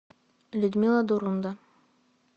людмила дурунда